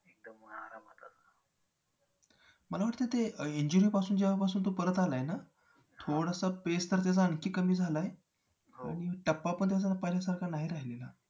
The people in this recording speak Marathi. मला वाटतंय ते injury पासून जेव्हापासून तो परत आलाय ना थोडासा pace तर त्याचा आणखी कमी झालाय आणि टप्पा पण त्याचा पहिल्यासारखा नाही राहिलेला.